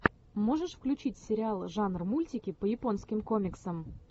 можешь включить сериал жанр мультики по японским комиксам